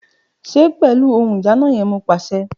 Ṣe pẹlu ohun ìdáná yẹn Mo paṣẹ!